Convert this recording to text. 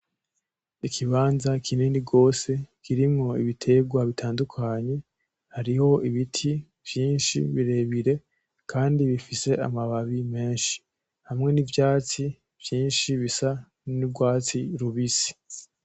ikibanza kinini gwose kirimwo ibitegwa bitandukanye hariho ibiti vyinshi birebire kandi bifise amababi menshi hamwe n'ivyatsi vyinshi bisa n'ugwatsi rubisi.